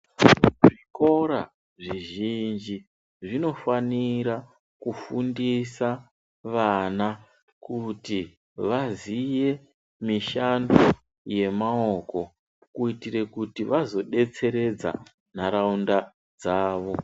Zvikora zvizhinji zvinofanira kufundisa vana kuti vazive mishando yemaoko kuti vazodetseredza nharaunda dzawo.